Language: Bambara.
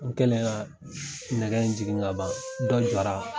N kɛlen ka nɛgɛ in jigin ka ban dɔ jɔra.